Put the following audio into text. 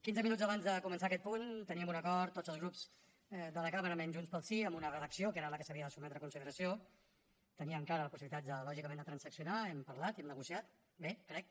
quinze minuts abans de començar aquest punt teníem un acord tots els grups de la cambra menys junts pel sí amb una redacció que era la que s’havia de sotmetre a consideració tenia encara possibilitats lògicament de transaccionar hem parlat i hem negociat bé crec